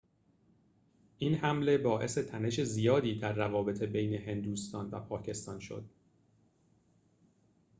این حمله باعث تنش زیادی در روابط بین هندوستان و پاکستان شد